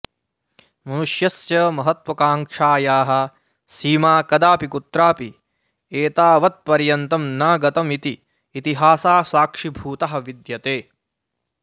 मनुष्यस्य महत्त्वाकांक्षायाः सीमा कदापि कुत्रापि एतावत्पर्यन्तं न गतमिति इतिहासः साक्षीभूतः विद्यते